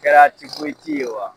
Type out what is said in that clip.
Kɛra ye wa